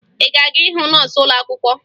Ị ga-aga hụ nọọsụ ụlọakwụkwọ?